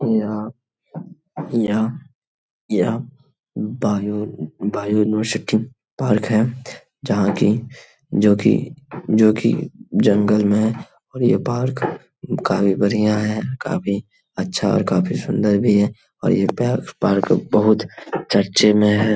यह यह यह बायो बायोलॉसिटी पार्क है। जहां कि जो कि जो कि जंगल में और यह पार्क काफी बढ़िया है काफी अच्छा है और काफी सुंदर भी है और यह पयार्क पार्क बहुत चर्चे में है।